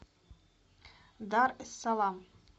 дар эс салам